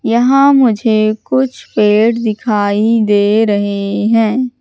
यहां मुझे कुछ पेड़ दिखाई दे रहे हैं।